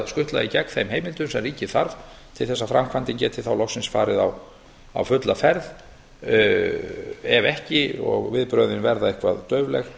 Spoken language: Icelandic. skutla í gegn þeim heimildum sem ríkið þarf til þess að framkvæmdin geti þá loksins farið á fulla ferð ef ekki og viðbrögðin verða eitthvað daufleg